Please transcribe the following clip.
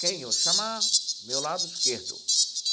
Quem eu chamar, meu lado esquerdo.